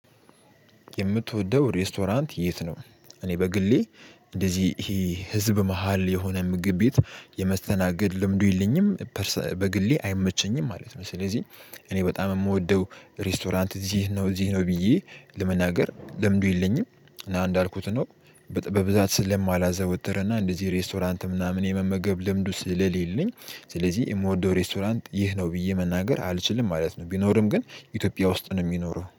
የምትወደው ሬስቶራንት የት ነው? እኔ በግሌ እንደዚህ ይሄ ህዝብ መሃል የሆነ ምግብ ቤት የመስተናገድ ልምዱ የለኝም በግሌ አይመቸኝም ማለት ነው ስለዚህ እኔ በጣም የምወደው ሬስቶራንት እዚህ ነው እዚህ ነው ብዬ ለመናገር ለምዱ የለኝም እና እንዳልኩት ነው በብዛት ስለማላዘወተረና እንደዚህ ሬስቶራንት ምናምን የመመገብ ልምዱ ስለሌለኝ ስለዚህ የምወደው ሬስቶራንት ይህ ነው ብዬ መናገር አልችልም ማለት ነው ቢኖርም ግን ኢትዮጵያ ውስጥ ነው የሚኖረው